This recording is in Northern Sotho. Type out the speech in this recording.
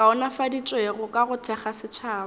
kaonafaditšwego ka go thekga setšhaba